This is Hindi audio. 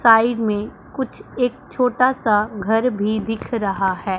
साइड में कुछ एक छोटा सा घर भी दिख रहा है।